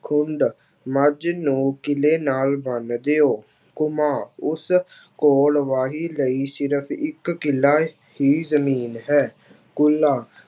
ਖੁੰਡ ਮੱਝ ਨੂੰ ਕਿਲ੍ਹੇ ਨਾਲ ਬੰਨ੍ਹ ਦਿਓ ਉਸ ਕੋਲ ਵਾਹੀ ਲਈ ਸਿਰਫ਼ ਇੱਕ ਕਿੱਲ੍ਹ ਹੀ ਜ਼ਮੀਨ ਹੈ, ਕੁੱਲਾ